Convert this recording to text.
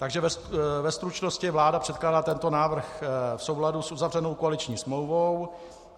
Takže ve stručnosti, vláda předkládá tento návrh v souladu s uzavřenou koaliční smlouvou.